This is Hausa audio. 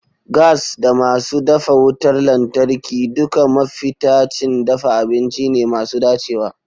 Gas da masu dafa wutar lantarki duka mafitacin dafa abinci ne masu dacewa.